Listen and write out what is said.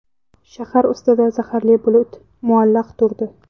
Shahar ustida zaharli bulut muallaq turdi.